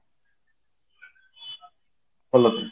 hello